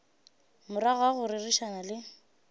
morago ga go rerišana le